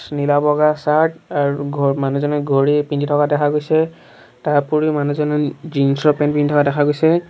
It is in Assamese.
নীলা বগা চাৰ্ট আৰু ঘ মানুহজনে ঘড়ী পিন্ধি থকা দেখা গৈছে তাৰ উপৰিও মানুহজনে জীন্ছ ৰ পেন্ট পিন্ধাও থকা দেখা গৈছে।